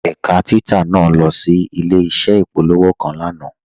Ẹ̀kà títà naà lọ sí ilẹ̀-iṣẹ̀ ìpòlọ̀wọ́̀ kan lánà.